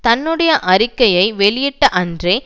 தன்னுடைய அறிக்கையை வெளியிட்ட அன்றே